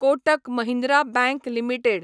Kotak Mahindra bank limited